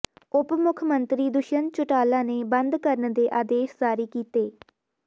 ਉਪ ਮੁੱਖ ਮੰਤਰੀ ਦੁਸ਼ਯੰਤ ਚੌਟਾਲਾ ਨੇ ਬੰਦ ਕਰਨ ਦੇ ਆਦੇਸ਼ ਜਾਰੀ ਕੀਤੇ